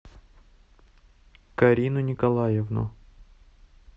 карину николаевну